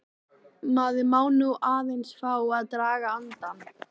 Maður má nú aðeins fá að draga andann!